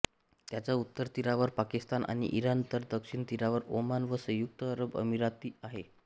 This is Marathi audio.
याच्या उत्तर तीरावर पाकिस्तान आणि इराण तर दक्षिण तीरावर ओमान व संयुक्त अरब अमिराती आहेत